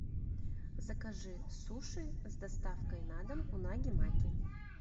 закажи суши с доставкой на дом унаги маки